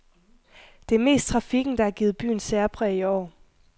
Det er mest trafikken, der har givet byen særpræg i år.